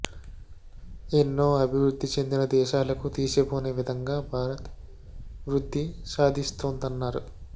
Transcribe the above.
ఎన్నో అభివృద్ధి చెందిన దేశాలకు తీసిపోని విధంగా భారత్ వృద్ధి సాధిస్తోందన్నారు